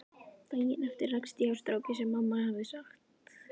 Daginn eftir rakst ég á strákinn sem mamma hafði sagt